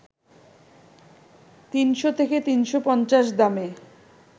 ৩০০ থেকে ৩৫০ দামে